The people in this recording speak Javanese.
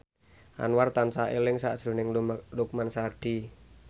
Anwar tansah eling sakjroning Lukman Sardi